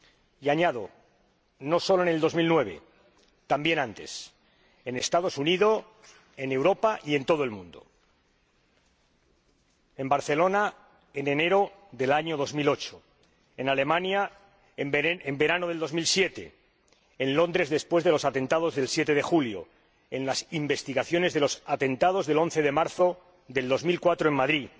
Y añado, no solo en 2009, también antes, en los Estados Unidos, en Europa y en todo el mundo en Barcelona en enero de 2008, en Alemania en el verano de 2007, en Londres después de los atentados del 7 de julio y en las investigaciones de los atentados del 11 de marzo de 2004 en Madrid,